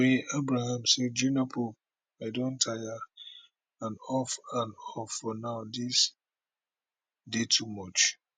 toyin abraham say jnr pope i don tire and off and off for now dis dey too much